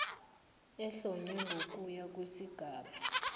ehlonywe ngokuya kwesigaba